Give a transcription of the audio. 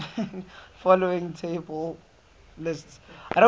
following table lists